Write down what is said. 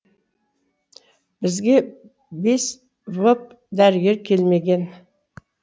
бізге бес воп дәрігері келмеген